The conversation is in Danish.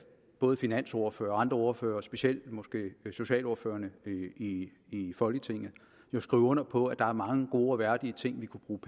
både finansordførere og andre ordførere specielt måske socialordførere i folketinget kan skrive under på at der er mange gode og værdige ting vi kunne bruge